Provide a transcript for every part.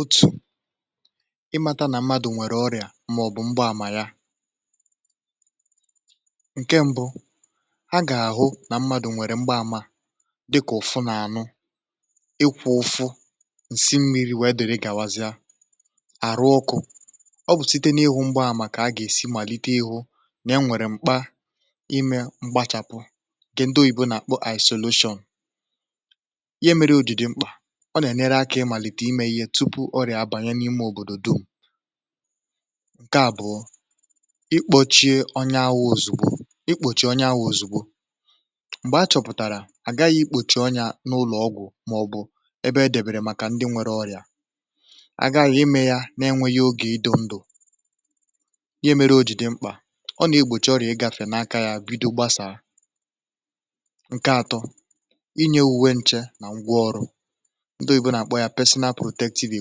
otu̇ ịmata nà mmadụ̀ nwèrè ọrịà màọ̀bụ̀ mgbaàmà ya ǹkẹ̀ mbụ a gà-ahụ nà mmadụ̀ nwèrè mgbaàmà dịkà ụ̀fụ n’ànụ ịkwụ̇ ụfụ ǹsị mmiri̇ wèe dere gàwazịa àrụ ọkụ̇ ọ bụ̀ site n’ịhụ̇ mgbaàmà kà a gà-èsi màlite ịhụ̇ nà ya nwèrè m̀kpa ịmẹ̇ m̀kpachàpụ ǹkẹ̀ ndị oyibo nà isolation ihe mẹrẹ ojì dị mkpà ọ nà ẹ̀nyerẹ akȧ ịmàlìtè imė ihe tupu ọrịà àbànye n’ime òbòdò dum, ǹkẹ àbụọ, ikpọchie ọnyà awụ̇ òzùgbo ikpòchie ọnyà awụ̇ òzùgbo m̀gbè a chọ̀pụ̀tàrà àgaghị ikpòchì ọnyà n’ụlọ̀ ọgwụ̀ màọ̀bụ̀ ẹbẹ e dẹ̀bèrè màkà ndị nwẹrẹ ọrịà àgaghị ime yȧ na ẹnwẹghị ogè ido ndụ̀ ihe mẹrẹ o jì dị mkpà ọ nà ekpòchie ọrịà ịgȧfẹ̀ n’aka yȧ bido gbasàa, ǹkẹ atọ inye ùwe nchẹ̇ nà ngwa ọrụ ndị oyibo na akpọ ya personal protective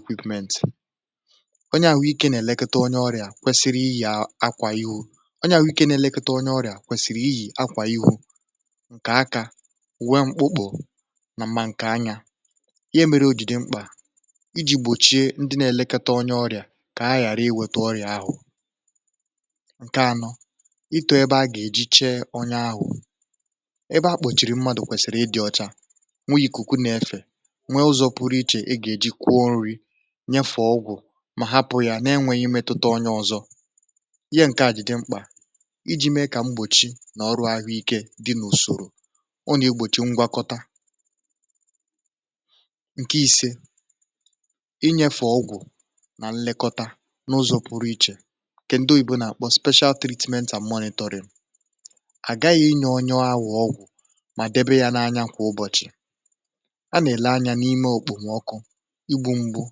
equipment onye àhụ ikė na-elekote onye ọrịà kwesiri ịyì akwà ihu, ọnye àhụ were ike ina elekota onye ọrịà kwesìrì ịyì akwà iju ǹkè akȧ uwe mkpụkpụ̀ nà mȧ ǹkè anyȧ, ihe mere ojìrì dị mkpà iji̇ gbòchie ndị na-elekite onye ọrịà kà ha ghàra iweta ọrịà ahụ̀ ǹkè anọ ịto ebe a gà-èji chee ọnyȧ ahụ̀ ebe akpòchìrì mmadụ̀ kwèsìrì ịdị̇ ọcha nweghi̇ ikụkụ na-efè nyefù ọgwụ̀ mà hapụ̀ ya na-enwėghi̇ mmetuta ọnye ọzọ ihe ǹke à jì dị mkpà iji̇ mee kà mgbòchi nà ọrụ̇ ahụ̀ ike dị̇ n’ùsòrò ọ nà-egbòchi ngwakọta ǹke ìse inyėfe ọgwụ̀ nà nlekọta n’ụzọ̇ pụrụ ichè nke ndị oyibo nà-àkpọ ‘special treatment and monitoring àgaghị̇ inye ọnye oria ọgwụ̀ mà debe ya n’anya kwà ụbọ̀chị̀ ana ele anya n'ime ekpomoku ,igbu mgbu,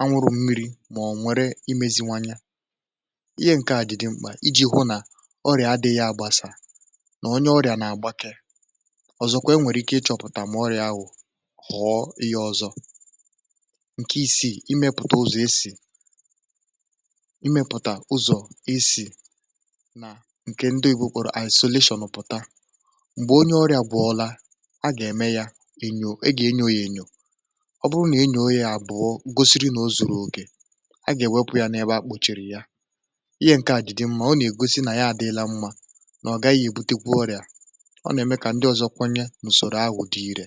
anwụrụ̇ mmiri̇ mà ọ̀ nwere imeziwanye ihe ǹke à ji dị̀ mkpà iji̇ hụ nà ọrịà adị̇ghi àgbasà nà onye ọrịà nà-àgbàkè ọ̀zọkwa e nwèrè ike ịchọ̇pụ̀tà ma oria ahụ̀ ghọ̀ọ ihe ọzọ, ǹke ìsiì imėpụ̀tà uzọ̀ esì imėpụ̀tà uzọ̀ esì nà ǹkè ndị oyibo kpọrọ isolation pụ̀ta m̀gbè onye ọrịà bụ̀ọla a gà-ème yȧ ènyò e gà-enyo yȧ ènyò ọburuna enyoo ya abụọ gòsìrì nà ọ zụ̀rụ̀ okè a gà èwepụ̇ ya n’ebe akpochiri ya ihe ǹke à jì dị mmȧ ọ nà-ègosi nà ya adịlà mmȧ nà ọ gaghị èbutekwa orịà ọ nà-ème kà ndị ọ̀zọ kwenye n’ùsòrò ahụ̀ dị irė